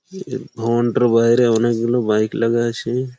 এই ভবনটার বাইরে অনেকগুলো বাইক লাগা আছে।